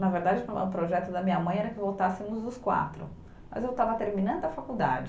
Na verdade, o projeto da minha mãe era que voltássemos os quatro, mas eu estava terminando a faculdade.